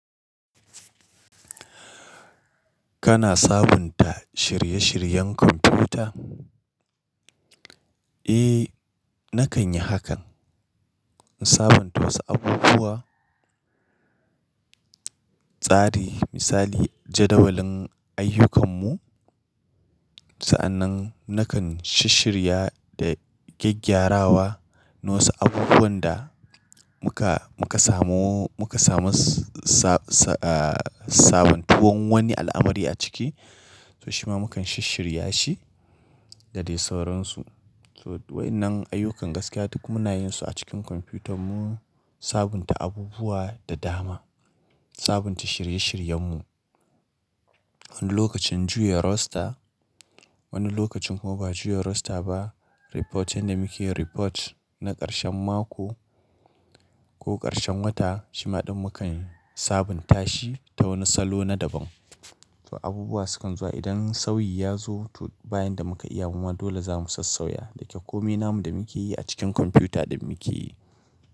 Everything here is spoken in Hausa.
Kana sabunta shirye-shiryen kwamfuta? Eh, nakan yi hakan. In sabunta wasu abubuwa, tsari misali jadawalin ayyukanmu. Sa'annan nakan shishirya da gyaggyarawa na wasu abubuwan da muka, muka samu, muka samu sa, sa, ah, sabontuwan wani al'amari a ciki. To shima mukan shisshirya shi da dai sauransu. To wai nan ayyukan gaskiya duk munayin su a cikin kwamfuta mu, sabunta abubuwa da dama. Sabunta shirye-shiryen mu. Wani lokacin juya roster, wani lokacin kuma ba juya roster ba. Reportin da muke report na karshen mako ko karshen wata shima ɗin mukan sabunta shi ta wani salo na daban. To abubuwa sukan zuwa idan sauyi ya zo to bayin da muka iya kuma dole zamu sassauya da ke komai namu da muke yi a cikin kwamfuta din muke yi.